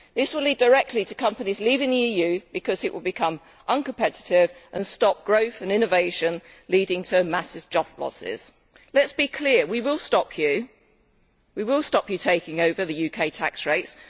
This will lead directly to companies leaving the EU because it will become uncompetitive and stop growth and innovation, leading to massive job losses. Let us be clear we will stop you taking over the UK tax rates.